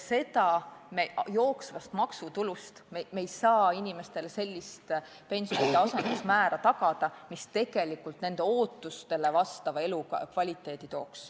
Me ei saa jooksvast maksutulust tagada inimestele sellist pensionide asendusmäära, mis tooks kaasa nende ootustele vastava elukvaliteedi.